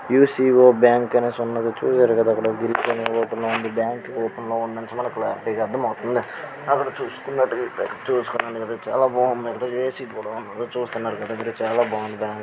UCO bank open లో ఉంది bank open లో ఉన్నట్టు మనకి క్లారిటీ గ అర్ధమవుతుంది అక్కడ చూసుకున్నటైతే చూస్తున్నారుగా చాల బావుంది ఏసి కూడ ఉంది చూస్తున్నారుగా మీరు చాల బావుంది.